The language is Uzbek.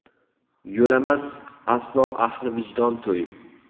Yo‘lamas aslo ahli vijdon to‘y.